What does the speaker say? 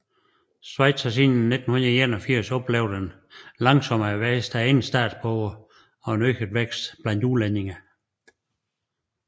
Schweiz har siden 1981 oplevet en langsommere vækst af egne statsborgere og øget vækst blandt udlændinge